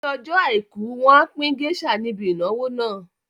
Ní ọjọ́ àìkú, wọn á pín géésà níbi ìnáwó náà